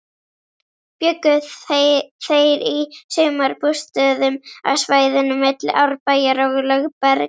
Bjuggu þeir í sumarbústöðum á svæðinu milli Árbæjar og Lögbergs.